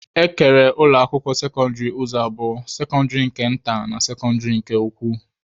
E kere ụlọ akwụkwọ sekọndịrị ụzọ abụọ, sekọndịrị nke nta na sekọndịrị nke ukwu